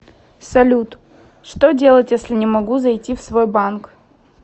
салют что делать если не могу зайти в свой банк